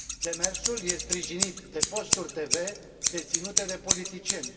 Demersul este sprijinit de posturi TV deținute de politicieni.